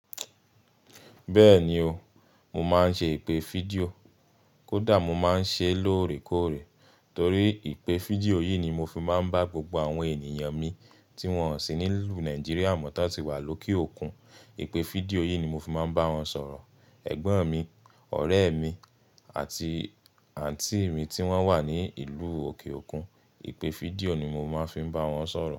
Bẹ́ẹ̀ni o, mo máa ń ṣe ìpè fídíò. Kódà mo máa ń ṣe lóòrèkóòrè torí ìpè fídíò yìí ni mo fi máa ń bá gbogbo àwọn ènìyàn mi tí wọ́n sì ní ìlú Nigeria mọ́ tó ti wà lókè òkun. Ìpè fídíò yìí ni mo fi máa ń bá wọn sọ̀rọ̀. Ẹ̀gbọ́n mi, ọ̀rẹ́ mi àti àǹtí mi tí wọ́n wà ní ìlú òkè òkun, ìpè fídíò ni mo máa ń fi bá wọn sọ̀rọ̀